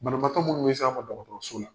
Banabaatɔ munnu be se an fɛ dɔkɔtɔrɔso la